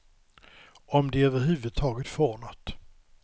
Om de över huvud taget får något.